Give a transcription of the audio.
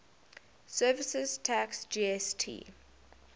services tax gst